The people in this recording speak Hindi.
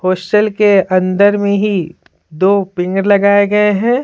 होस्टल के अंदर में ही दो पिंगर लगाए गए हैं।